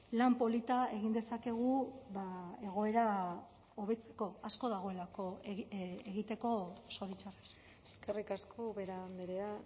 lan polita egin dezakegu egoera hobetzeko asko dagoelako egiteko zoritxarrez eskerrik asko ubera andrea